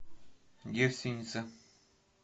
девственница